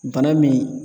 Bana min